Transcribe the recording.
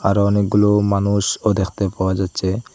আরও অনেকগুলো মানুষও দেখতে পাওয়া যাচ্ছে।